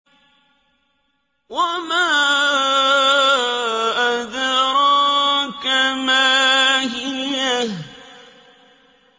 وَمَا أَدْرَاكَ مَا هِيَهْ